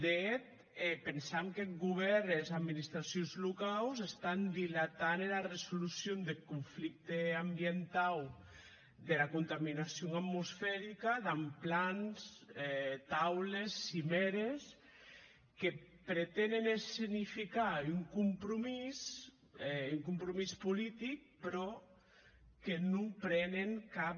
de hèt pensam qu’eth govèrn e es administracions locaus estan dilatant era resolucion deth conflicte ambientau dera contaminacion atmosferica damb plans taules cimèrles que pretenen escenificar un compromís un compromís politic mès que non prenen cap